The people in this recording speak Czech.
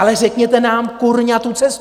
Ale řekněte nám, kurňa, tu cestu.